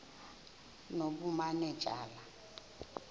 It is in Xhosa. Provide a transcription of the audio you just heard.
nobumanejala